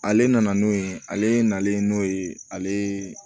Ale nana n'o ye ale nalen n'o ye ale ye